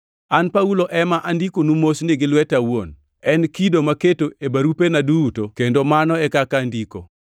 An Paulo ema andikonu mosni gi lweta awuon, en kido maketo e barupena duto kendo mano e kaka andiko.